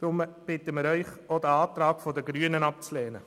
Wir bitten Sie deswegen, auch den Antrag der Grünen abzulehnen.